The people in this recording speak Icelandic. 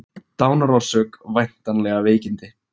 Dánarorsök væntanlega veikindi